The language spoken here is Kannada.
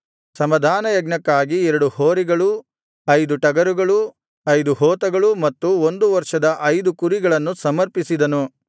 ಸಮಾಧಾನಯಜ್ಞಕ್ಕಾಗಿ ಎರಡು ಹೋರಿಗಳು ಐದು ಟಗರುಗಳು ಐದು ಹೋತಗಳು ಮತ್ತು ಒಂದು ವರ್ಷದ ಐದು ಕುರಿಗಳನ್ನು ಸಮರ್ಪಿಸಿದನು